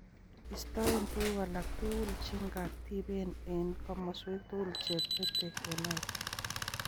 Istoe tuguuk alak tugul che ng'atiben eng' komoswek tugul che petei emait.